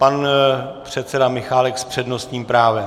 Pan předseda Michálek s přednostním právem.